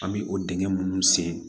An bɛ o dingɛ minnu sen